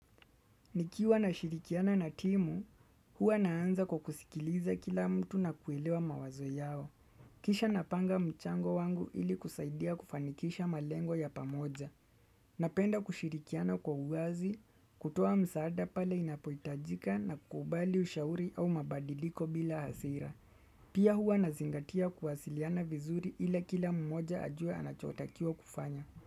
Nikiwa nashirikiana na timu, huwa naanza kwa kukusikiliza kila mtu na kuelewa mawazo yao. Kisha napanga mchango wangu ili kusaidia kufanikisha malengo ya pamoja. Napenda kushirikiana kwa uwazi, kutoa msaada pale inapoitajika na kubali ushauri au mabadiliko bila hasira. Pia huwa na zingatia kuwasiliana vizuri ila kila mmoja ajue anachotakiwa kufanya.